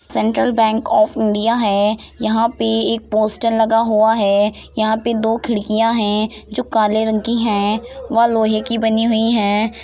Central bank of India है | यहाँ पे एक पोस्टर लगा हुआ है यहाँ पे दो खिड़कियां हैं जो काले रंग की हैं वह लोहे की बनी हुई हैं ।